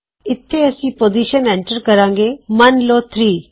ਇਥੇ ਅਸੀਂ position enter ਕਰਾਂਗੇ ਮਨ ਲੋ 3